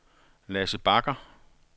Lasse Bagger